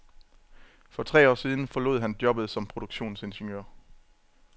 For tre år siden forlod han jobbet som produktionsingeniør.